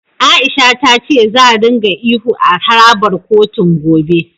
A'isha ta ce za ringa ihu a harabar kotun, gobe.